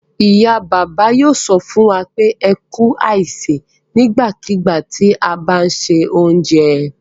Ìyá-bàbá yóò sọ fún wa pé "ẹ kú àsè" nígbàkigbà tí a bá ń se oúnjẹ.